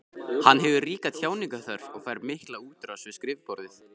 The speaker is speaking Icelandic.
Hann hefur ríka tjáningarþörf og fær mikla útrás við skrifborðið.